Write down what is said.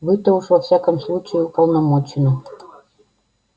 вы-то уж во всяком случае уполномочены